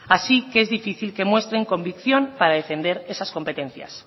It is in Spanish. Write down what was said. así que es difícil que muestren convicción para defender esas competencias